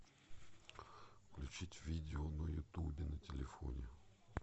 включить видео на ютубе на телефоне